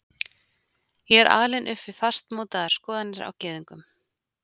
Ég er alinn upp við fastmótaðar skoðanir á gyðingum.